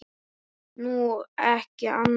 Nú, ekki annað.